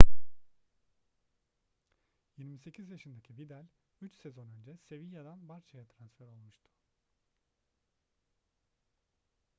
28 yaşındaki vidal üç sezon önce sevilla'dan barça'ya transfer olmuştu